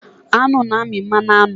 Aṅụ na-amị mmanụ aṅụ.